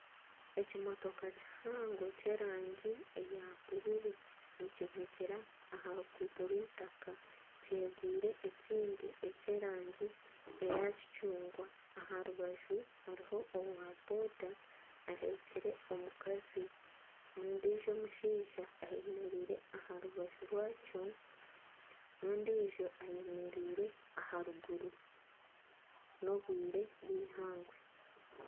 Ekimotoka kihango ky'erangi eya bururu nikivugira aha ruguuto rw'eitaka kyegwire ekindi eky'erangi eya kicungwa. Aha rubaju hariho owa boda ahekyire omukazi ondijo omushaija ayemereire aha rubaju rwakyo n'ondijo ayemereire aharuguru n'obwire bwihangwe.